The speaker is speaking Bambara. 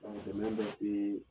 dɛmɛ bɛ e ye